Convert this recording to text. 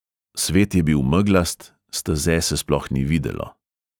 Svet je bil meglast, steze se sploh ni videlo.